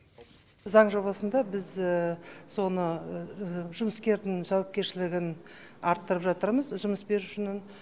заң жобасында біз соны жұмыскердің жауапкершілігін арттырып жатырмыз жұмыс берушінің